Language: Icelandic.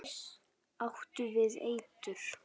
Áttu við eitur.